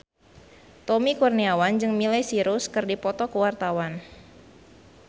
Tommy Kurniawan jeung Miley Cyrus keur dipoto ku wartawan